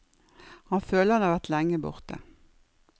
Han føler at han har vært lenge borte.